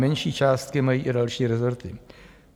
Menší částky mají i další rezorty.